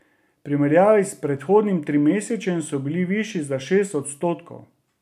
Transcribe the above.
V primerjavi s predhodnim trimesečjem so bili višji za šest odstotkov.